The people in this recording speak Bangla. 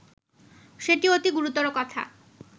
সেটি অতি গুরুতর কথা